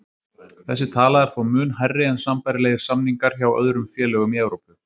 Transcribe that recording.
Þessi tala er þó mun hærri en sambærilegir samningar hjá öðrum félögum í Evrópu.